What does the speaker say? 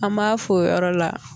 An m'an f'o yɔrɔ la